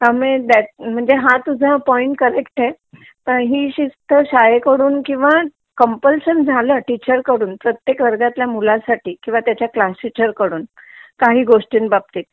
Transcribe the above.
हा म हा तुझा पॉइंट करेक्ट आहे ही शिस्त शाळेकडून किंवा कंपलशन झालं टीचर कडून प्रत्येक वर्गातल्या मुलासाठी किंवा त्याचा क्लास टीचर कडून काही गोष्टींबाबतीत